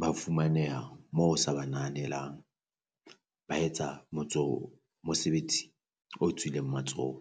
Ba fumaneha moo o sa ba nahanelang, ba etsa motso mosebetsi o tswileng matsoho.